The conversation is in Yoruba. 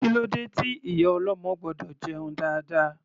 Kílódé tí ìyá ọlọ́mọ gbọ́dọ̀ jẹun dáadáa?